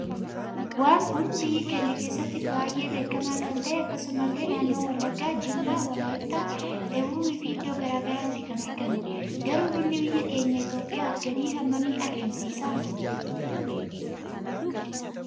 Waan kun biyya keenya kessatti baay'ee beekama Kan ta'e akkasumas ille naannoo wallaggaa , jimmaa, walayitta , dabub fi iddoo garaa garaatti kan argamudha. Garu bunni biyya keenya itoophiyaf galii hammam argamsiisa?